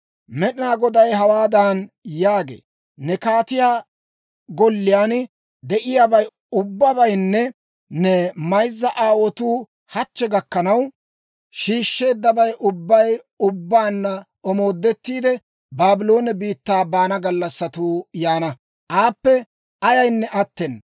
Med'inaa Goday hawaadan yaagee; ‹Ne kaatiyaa golliyaan de'iyaabay ubbabaynne ne mayzza aawotuu hachchi gakkanaw shiishsheeddabay ubbabay ubbaanna omoodettiide, Baabloone biittaa baana gallassatuu yaana; aappe ayaynne attena.